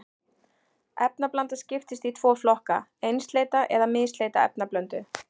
Efnablanda skiptist í tvo flokka, einsleita eða misleita efnablöndu.